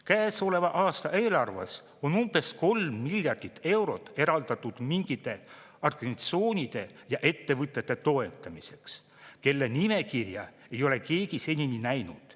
Käesoleva aasta eelarves on umbes kolm miljardit eurot eraldatud mingite organisatsioonide ja ettevõtete toetamiseks, kelle nimekirja ei ole keegi senini näinud.